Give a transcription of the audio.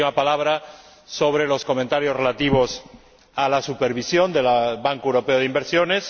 Y unas últimas palabras sobre los comentarios relativos a la supervisión del Banco Europeo de Inversiones.